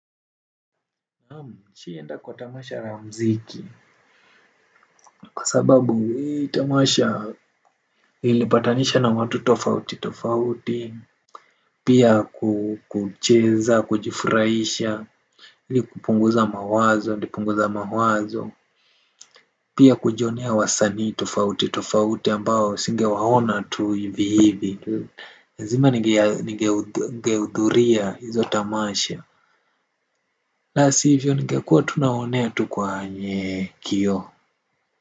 Naamu, nishawahi enda kwa tamasha la muziki, kwa sababu hii tamasha ilipatanisha na watu tofauti, tofauti, pia kucheza, kujifurahisha, ni kupunguza mawazo, ni kupunguza mawazo, pia kujionea wasanii tofauti, tofauti ambao singewaona tu hivi hivi, lazima ningeudhuria hizo tamasha, la sivyo ningekuwa nawaonea tu kwenye kioo.